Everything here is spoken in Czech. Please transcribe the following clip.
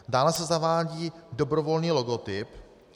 Dále se zavádí dobrovolný logotyp.